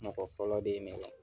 Mɔgɔ fɔlɔ de ye